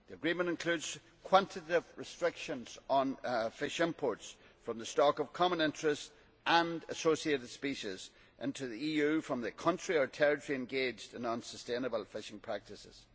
The agreement includes quantitative restrictions on fish imports from the stock of common interest and associated species into the EU from the country or territory engaged in unsustainable fishing practices.